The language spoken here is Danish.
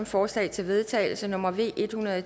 forslag til vedtagelse nummer v en hundrede og